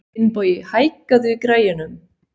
Finnbogi, hækkaðu í græjunum.